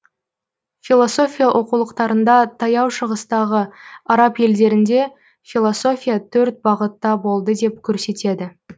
философия оқулықтарында таяу шығыстағы араб елдерінде философия төрт бағытта болды деп көрсетеді